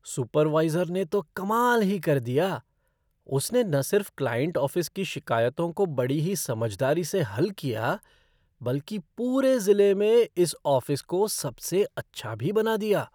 Supervisor ने तो कमाल ही कर दिया, उसने न सिर्फ क्लाइंट ऑफ़िस की शिकायतों को बड़ी ही समझदारी से हल किया, बल्कि पूरे ज़िले में इस ऑफ़िस को सबसे अच्छा भी बना दिया।